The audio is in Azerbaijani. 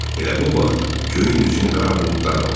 Elə bu vaxt göyün üzünü qara buludlar aldı.